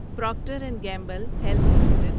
Procter and Gamble Health limited